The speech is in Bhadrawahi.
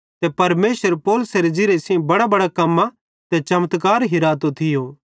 ते परमेशर पौलुसेरे ज़िरिये सेइं बडांबडां कम्मां ते चमत्कार हिरातो थियो